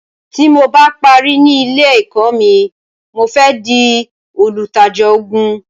Tí mo bá parí ní ilé èkó mi, mo fẹ di olùtajà ògún